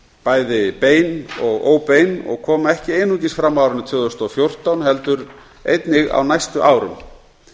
bæði bein og óbein og koma ekki einungis fram á árinu tvö þúsund og fjórtán heldur einnig á næstu árum